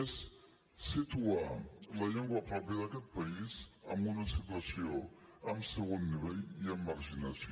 és situar la llengua pròpia d’aquest país en una situació de segon nivell i amb marginació